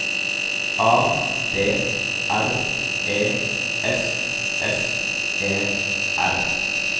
A D R E S S E R